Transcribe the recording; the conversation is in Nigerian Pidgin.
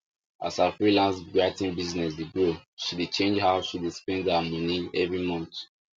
as her freelance writing business dey grow she dey change how she dey spend her money every month